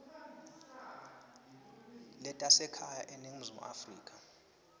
letasekhaya eningizimu afrika